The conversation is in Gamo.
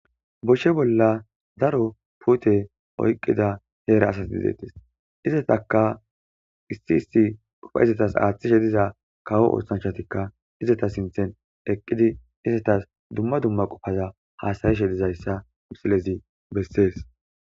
Boshshe bolla zaro pute oyqqida heera asas didettes izataka issi isti qufa izetas aaththi shediza kawo oothanhatikka izeta sinthen eqqidi izetas dumma dumma qopaza haasari shedizayssa silezi bessees